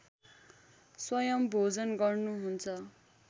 स्वयम् भोजन गर्नुहुन्छ